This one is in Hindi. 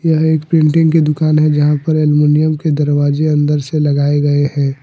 यह एक प्रिंटिंग की दुकान है जहां पर अलमुनियम के दरवाजे अन्दर से लगाए गए हैं।